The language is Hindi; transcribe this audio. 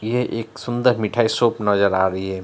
यह एक सुंदर मिठाई शॉप नजर आ रही है।